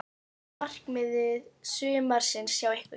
Hvert er markmið sumarsins hjá ykkur?